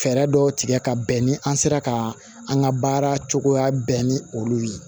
Fɛɛrɛ dɔ tigɛ ka bɛn ni an sera ka an ka baara cogoya bɛɛ ni olu ye